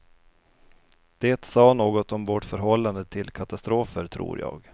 Det sa något om vårt förhållande till katastrofer, tror jag.